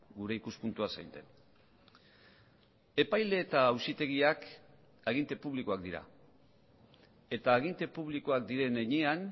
gure ikuspuntua zein den epaile eta auzitegiak aginte publikoak dira eta aginte publikoak diren heinean